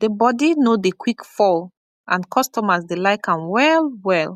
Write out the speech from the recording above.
the body no dey quick fall and customers dey like am well well